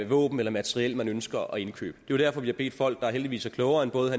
våben eller materiel man ønsker at indkøbe det jo derfor vi har bedt folk der heldigvis er klogere end både